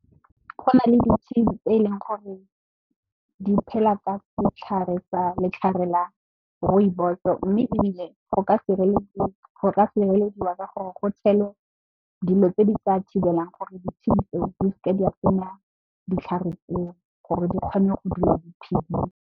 Go na le ditshedi tse e leng gore di phela ka setlhare sa Rooibos mme, ebile go ka sirelediwa ka gore go tshelwe dilo tse di tla thibelang gore ditshedi tseo di seke di a senya ditlhare tseo gore di kgone go dula di phedile.